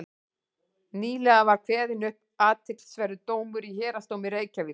nýlega var kveðinn upp athyglisverður dómur í héraðsdómi reykjavíkur